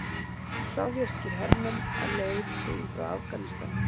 Sovéskir hermenn á leið heim frá Afganistan.